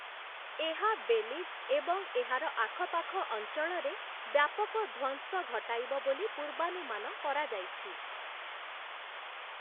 ଏହା ବେଲିଜ୍ ଏବଂ ଏହାର ଆଖପାଖ ଅଞ୍ଚଳରେ ବ୍ୟାପକ ଧ୍ୱଂସ ଘଟାଇବ ବୋଲି ପୂର୍ବାନୁମାନ କରାଯାଇଛି ।